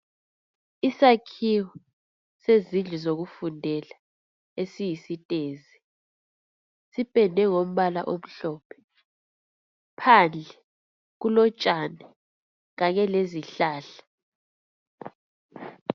Isakhiwo sezindlu zokufundela esiyisitezi sipendwe ngombala omhlophe phandle kulotshani kanye lezihlahla